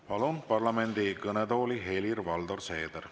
Palun parlamendi kõnetooli Helir-Valdor Seederi.